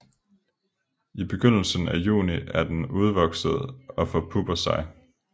I begyndelsen af juni er den udvokset og forpupper sig